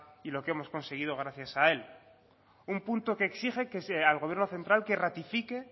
y lo que hemos conseguido gracias a él un punto que exige al gobierno central que ratifique